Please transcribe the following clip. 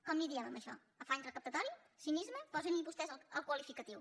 com en diem d’això afany recaptatori cinisme posin hi vostès el qualificatiu